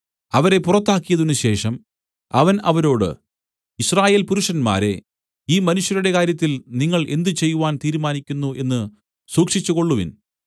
അവരെ പുറത്താക്കിയതിന് ശേഷം അവൻ അവരോട് യിസ്രായേൽ പുരുഷന്മാരേ ഈ മനുഷ്യരുടെ കാര്യത്തിൽ നിങ്ങൾ എന്ത് ചെയ്‌വാൻ തീരുമാനിക്കുന്നു എന്ന് സൂക്ഷിച്ചുകൊള്ളുവിൻ